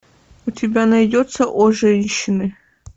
у тебя найдется о женщины